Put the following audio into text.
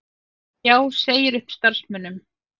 Já segir upp starfsmönnum